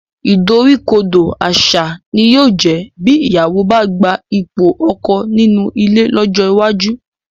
Ìdoríkodò àṣà ni yóò jẹ́ bí ìyàwó bá gba ipò ọkọ nínú ilé lọ́jọ́ iwájú